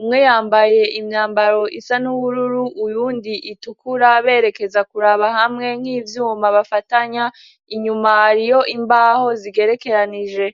umwe yambaye imyambaro isa n'ubururu uyundi itukura berekeza kuraba hamwe nk'ivyuma bafatanya inyuma hariyo imbaho zigerekeranije.